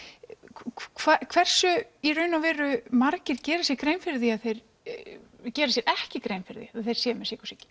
hversu í raun og veru margir gera sér grein fyrir því að þeir geri sér ekki grein fyrir því að þeir séu með sykursýki